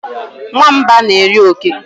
Nwamba na eri oke